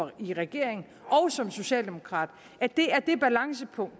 i regeringen og som socialdemokrat at det er det balancepunkt